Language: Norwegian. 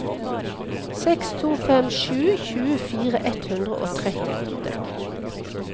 seks to fem sju tjuefire ett hundre og trettiåtte